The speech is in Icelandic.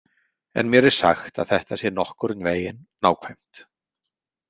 En mér er sagt að þetta sé nokkurn veginn nákvæmt.